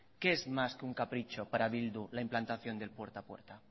qué es más que un capricho para bildu la implantación del puerta a puerta